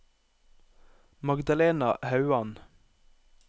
Magdalena Hauan